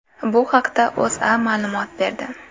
Bu haqda O‘zA ma’lumot berdi .